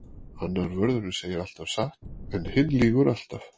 Annar vörðurinn segir alltaf satt en hinn lýgur alltaf.